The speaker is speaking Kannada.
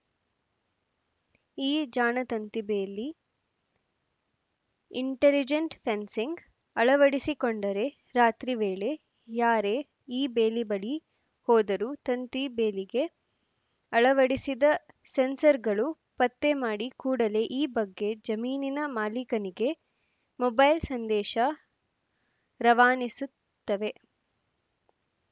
ಈ ಜಾಣ ತಂತಿಬೇಲಿ ಇಂಟೆಲಿಜೆಂಟ್‌ ಫೆನ್ಸಿಂಗ್‌ ಅಳವಡಿಸಿಕೊಂಡರೆ ರಾತ್ರಿ ವೇಳೆ ಯಾರೇ ಈ ಬೇಲಿ ಬಳಿ ಹೋದರೂ ತಂತಿ ಬೇಲಿಗೆ ಅಳವಡಿಸಿದ ಸೆನ್ಸರ್‌ಗಳು ಪತ್ತೆ ಮಾಡಿ ಕೂಡಲೇ ಈ ಬಗ್ಗೆ ಜಮೀನಿನ ಮಾಲಿಕನಿಗೆ ಮೊಬೈಲ್‌ ಸಂದೇಶ ರವಾನಿಸುತ್ತವೆ